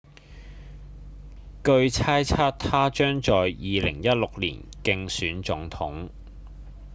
據猜測他將在2016年競選總統